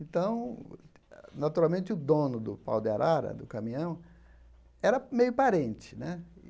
Então, naturalmente, o dono do Pau de Arara, do caminhão, era meio parente né.